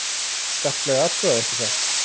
Skarplega athugað, ekki satt?